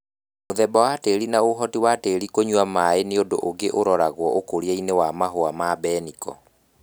Mũthemba wa tĩri na ũhoti wa tĩri kũnywa maĩ nĩundu ũngĩ wa ũroragwa ũkũriainĩ wa Mahũa ma mbeniko